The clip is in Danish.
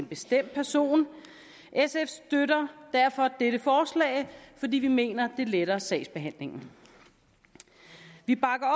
bestemt person sf støtter derfor dette forslag fordi vi mener at det letter sagsbehandlingen vi bakker